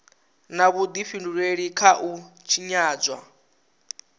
na vhudifhinduleli kha u tshinyadzwa